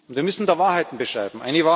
Wir müssen da Wahrheiten beschreiben.